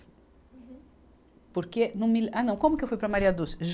Uhum. Porque no mile, ah não, como que eu fui para a Du?